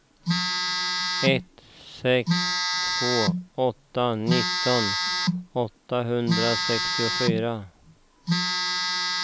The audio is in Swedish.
ett sex två åtta nitton åttahundrasextiofyra